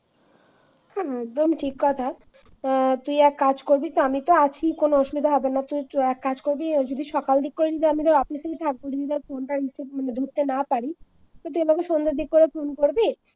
হ্যাঁ একদম ঠিক কথা অ্যাঁ তুই এক কাজ করবি তো আমি তো আছি কোন অসুবিধা হবে না তুই এক কাজ করবি যদি সকাল দিক করে আমি যদি অফিসে থাকব যদি ধর ফোনটা রিসিভ মানে ধরতে না পারি তো তুই আমাকে সন্ধ্যার দিক করে ফোন করবি।